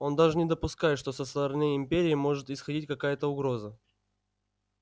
он даже не допускает что со стороны империи может исходить какая-то угроза